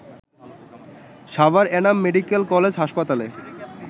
Savar Enam medical college হাসপাতালে